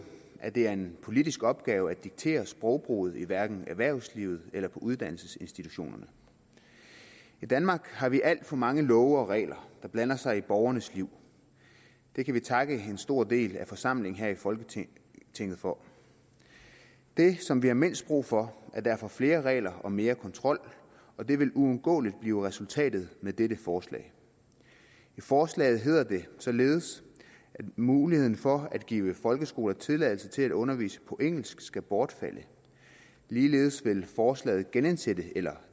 at det er en politisk opgave at diktere sprogbruget hverken erhvervslivet eller på uddannelsesinstitutionerne i danmark har vi alt for mange love og regler der blander sig i borgernes liv det kan vi takke en stor del af forsamlingen her i folketinget for det som vi har mindst brug for er derfor flere regler og mere kontrol og det vil uundgåeligt blive resultatet af dette forslag i forslaget hedder det således at muligheden for at give folkeskoler tilladelse til at undervise på engelsk skal bortfalde ligeledes vil forslaget genindsætte eller